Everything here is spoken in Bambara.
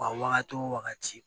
A wagati o wagati